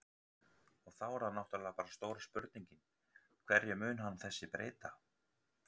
Og þá er það náttúrulega bara stóra spurningin, hverju mun hann þessi breyta?